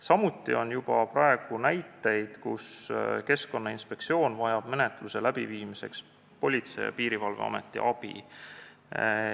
Samuti on juba praegu näiteid, et Keskkonnainspektsioon vajab menetluse läbiviimiseks Politsei- ja Piirivalveameti abi.